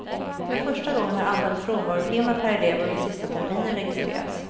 För första gången har antalet frånvarotimmar per elev under sista terminen registrerats.